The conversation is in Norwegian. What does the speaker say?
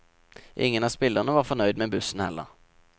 Ingen av spillerne var fornøyd med bussen heller.